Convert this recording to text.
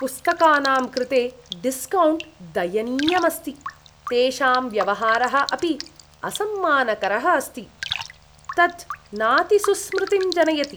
पुस्तकानां कृते डिस्कौण्ट् दयनीयम् अस्ति, तेषां व्यवहारः अपि असम्मानकरः अस्ति। तत् नाति सुस्मृतिं जनयति।